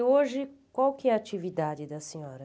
E hoje, qual que é a atividade da senhora?